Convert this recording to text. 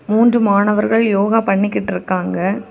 மூன்று மாணவர்கள் யோகா பண்ணிக்கிட்டு இருக்காங்க.